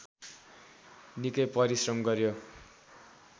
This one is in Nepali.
निकै परिश्रम गर्‍यो